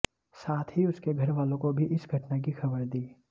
साथ ही उसके घरवालों को भी इस घटना की खबर दी